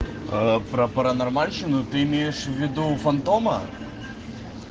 а про паранормальщину ты имеешь в виду фантома